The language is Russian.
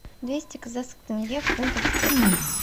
двести казахских тенге в фунтах стерлингах